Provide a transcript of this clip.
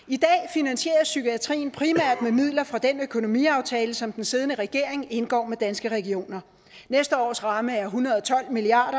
finansieres psykiatrien primært med midler fra den økonomiaftale som den siddende regering indgår med danske regioner næste års ramme er en hundrede og tolv milliard